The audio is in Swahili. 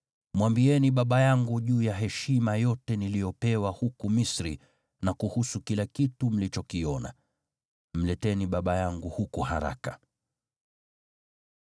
Mwambieni baba yangu juu ya heshima yote niliyopewa huku Misri, na kuhusu kila kitu mlichokiona. Mleteni baba yangu huku haraka.”